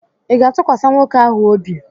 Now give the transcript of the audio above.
Ị ga-atụkwasị nwoke ahụ obi?